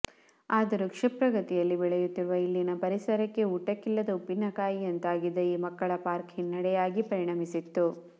ಆದರೂ ಕ್ಷಿಪ್ರ ಗತಿಯಲ್ಲಿ ಬೆಳೆಯುತ್ತಿರುವ ಇಲ್ಲಿನ ಪರಿಸರಕ್ಕೆ ಊಟಕಿಲ್ಲದ ಉಪ್ಪಿನಕಾಯಿಂತಾಗಿದ್ದ ಈ ಮಕ್ಕಳ ಪಾರ್ಕ್ ಹಿನ್ನಡೆಯಾಗಿ ಪರಿಣಮಿಸಿತ್ತು